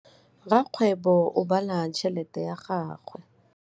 Rakgwêbô o bala tšheletê ya gagwe.